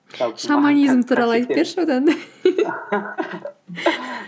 шаманизм туралы айтып берші одан да